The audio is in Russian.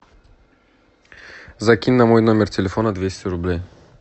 закинь на мой номер телефона двести рублей